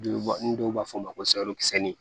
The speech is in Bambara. Ni dɔw b'a fɔ o ma ko